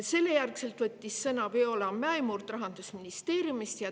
Seejärel võttis sõna Viola Mäemurd Rahandusministeeriumist.